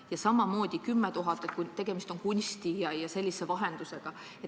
Ja samamoodi 10 000 – kui tegemist on kunsti ja millegi seesuguse vahendusega.